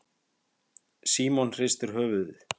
Símon hristi höfuðið.